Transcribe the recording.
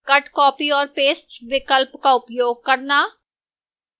cut copy और paste विकल्प का उपयोग करना